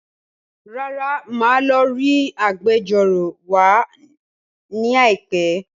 Rárá, màá lọ rí Agbẹjọ́rò wa ní àìpẹ́